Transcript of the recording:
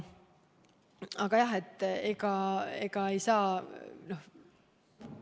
Aga jah, ei saa.